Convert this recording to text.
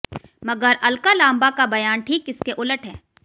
मगर अलका लांबा का बयान ठीक इसके उलट है